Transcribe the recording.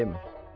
Dayəm.